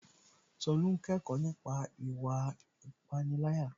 Tolú n kẹ́kọ̀ọ́ nípa ìwà ìpániláyà